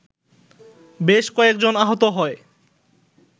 বেশ কয়েকজন আহত হয়